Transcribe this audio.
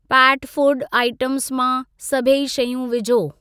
PAT food items मां सभई शयूं विझो।